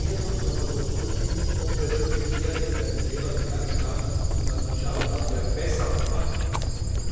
Hier sollten wir einmal überprüfen, ob wir wirklich irgendeinen Fehler begangen haben, um dann zu schauen, was wir besser machen können.